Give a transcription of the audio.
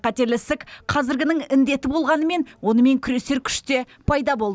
қатерлі ісік қазіргінің індеті болғанымен онымен күресер күш те пайда болды